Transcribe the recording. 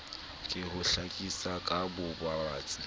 ke ho hlakisa ka bobatsi